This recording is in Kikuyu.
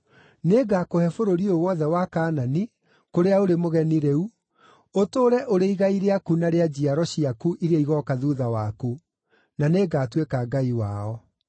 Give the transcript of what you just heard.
Nĩngakũhe bũrũri ũyũ wothe wa Kaanani, kũrĩa ũrĩ mũgeni rĩu, ũtũũre ũrĩ igai rĩaku na rĩa njiaro ciaku iria igooka thuutha waku; na nĩngatuĩka Ngai wao.”